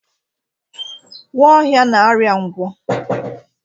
Nwaohia na-arịa ngwọ.